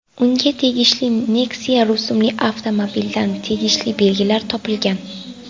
Unga tegishli Nexia rusumli avtomobildan tegishli belgilar topilgan.